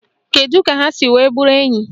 Kedụ ka ha si wee bụrụ enyi?